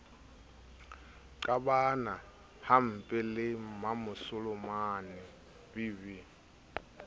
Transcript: qabana hampempe le mmamasolomane vv